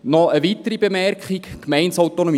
Noch eine weitere Bemerkung: Gemeindeautonomie.